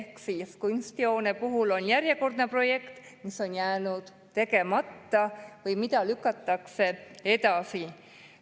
Kunstihoone puhul on järjekordse projektiga, mis on jäänud tegemata või mida lükatakse edasi.